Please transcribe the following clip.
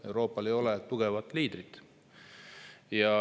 Euroopal ei ole tugevat liidrit.